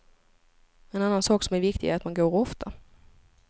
En annan sak som är viktig är att man går ofta.